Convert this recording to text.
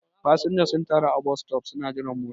fasinja sun taru a bostop suna jiran mota